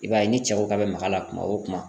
I b'a ye ni cɛ ko k'a bɛ maga a la kuma o kuma.